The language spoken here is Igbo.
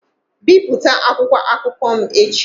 Bipụta akwụkwọ akụkọ m echi!